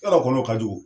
Yɔrɔ kɔnɔ ka jugu